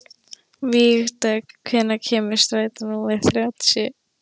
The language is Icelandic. Vígdögg, hvenær kemur strætó númer þrjátíu?